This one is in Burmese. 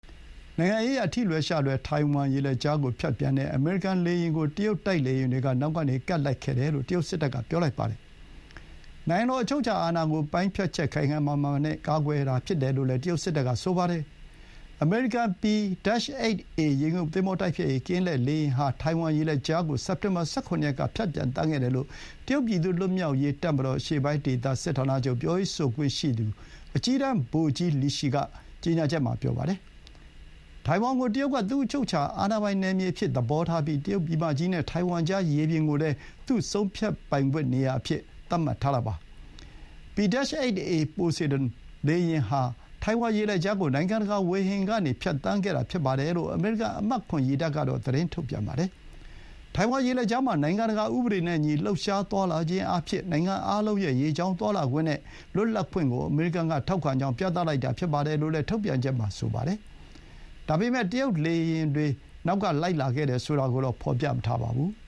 နိုင်ငံရေးအရ ထိလွယ်ရှလွယ် ထိုင်ဝမ်ရေလက်ကြားကို ဖြတ်ပြီးပျံသန်းတဲ့ အမေရိကန်လေယာဥ်ကို တရုတ်တိုက်လေယာဥ်တွေက နောက်ကနေ ကပ်လိုက်ခဲ့တယ်လို့ တရုတ်စစ်တပ်က ပြောပါတယ်။ နိုင်ငံတော် အချုပ်အခြာအာဏာကိုပိုင်းဖြတ်ချက်ခိုင်ခိုင်မာမာနဲ့ ကာကွယ်မယ်လို့လည်း တရုတ်စစ်တပ်က ပြောလိုက်ပါတယ်။ အမေရိကန် P-8A ရေငုပ်သင်္ဘောတိုက်ဖျက်ရေး ကင်းလှည့်လေယာဥ်ဟာ ထိုင်ဝမ်ရေလက်ကြားကို စက်တင်ဘာ ၁၇ရက်က ဖြတ်ပြီး ပျံသန်းခဲ့တယ်လို့ တရုတ်ပြည်သူ့လွတ်မြောက်ရေးတပ်မတော် အရှေ့ပိုင်းဒေသ စစ်ဌာနချုပ်ပြောရေးဆိုခွင့်ရှိသူ အကြီးတန်း ဗိုလ်ကြီး လီရှီ က ကြေညာချက်မှာ ပြောပါတယ်။ ထိုင်ဝမ်ကို တရုတ်က သူ့အချုပ်အခြာအာဏာပိုင် နယ်မြေအဖြစ် သဘောထားပြီး တရုတ်ပြည်မကြီးနဲ့ ထိုင်ဝမ်ကြား ရေပြင်ကိုလည်း ဆုံးဖြတ်ပိုင်ခွင့်နေရာအဖြစ် သတ်မှတ်ထားတာပါ။ P-8A Poseidon လေယာဥ်ဟာ ထိုင်ဝမ်ရေလက်ကြားကို နိုင်ငံတကာဝေဟင်ကနေ ပျံသန်းခဲ့တာဖြစ်တယ်လို့ အမေရိကန်အမှတ် ၇ ရေတပ်က သတင်းထုတ်ပြန်ပါတယ်။ ထိုင်ဝမ်ရေလက်ကြားမှာ နိုင်ငံတကာဥပဒေနဲ့အညီ လှုပ်ရှားသွားလာခြင်းအားဖြင့် နိုင်ငံအားလုံးရဲ့ ရေကြောင်းသွားလာခွင့်နဲ့ လွတ်လပ်ခွင့်ကို အမေရိကန်ကထောက်ခံကြောင်း ပြသလိုက်တာဖြစ်တယ်လို့ ထုတ်ပြန်ချက်မှာ ပြောပါတယ်။ ဒါပေမဲ့ တရုတ်တိုက်လေယာဥ်တွေ နောက်ကလိုက်ခဲ့တယ်ဆိုတာကိုတော့ မဖော်ပြပါဘူး။